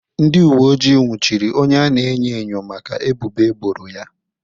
Ndị uwe ojii nwụchiri onye a na-enyo enyo maka ebubo eboro ya.